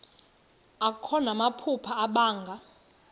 akho namaphupha abanga